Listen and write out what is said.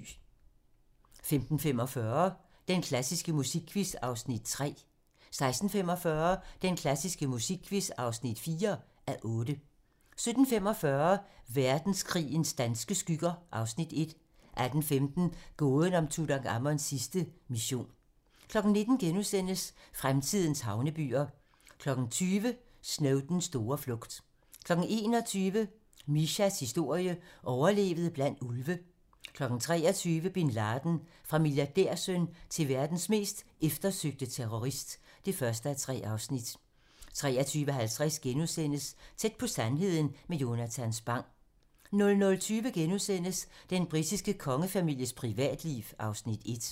15:45: Den klassiske musikquiz (3:8) 16:45: Den klassiske musikquiz (4:8) 17:45: Verdenskrigens danske skygger (Afs. 1) 18:15: Gåden om Tutankhamons sidste mission 19:00: Fremtidens havnebyer * 20:00: Snowdens store flugt 21:00: Mishas historie: Overlevede blandt ulve 23:00: Bin Laden - Fra milliardærsøn til verdens mest eftersøgte terrorist (1:3) 23:50: Tæt på sandheden med Jonatan Spang * 00:20: Den britiske kongefamilies privatliv (Afs. 1)*